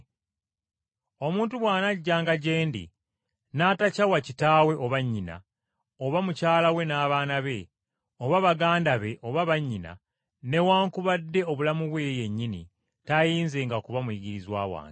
“Omuntu bw’anajjanga gye ndi, n’atakyawa kitaawe, oba nnyina, oba mukyala we n’abaana be, oba baganda be oba bannyina, newaakubadde obulamu bwe ye yennyini, tayinzenga kuba muyigirizwa wange.